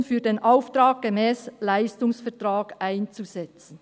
] zweckgebunden [für den Auftrag] gemäss Leistungsvertrag einzusetzen.